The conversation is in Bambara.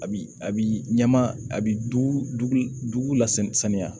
A bi a bi ɲama a bi dugu la saniya